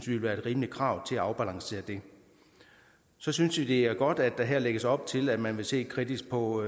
ville være et rimeligt krav til at afbalancere det så synes vi det er godt at der her lægges op til at man vil se kritisk på